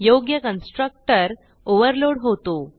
योग्य constructor overload होतो